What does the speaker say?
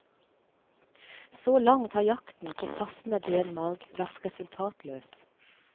Så langt har jakten på passende benmarg vært resultatløs.